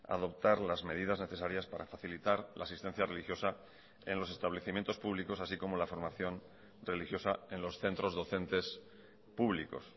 adoptar las medidas necesarias para facilitar la asistencia religiosa en los establecimientos públicos así como la formación religiosa en los centros docentes públicos